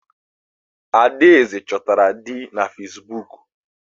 Adaeze chọtara di na Facebook.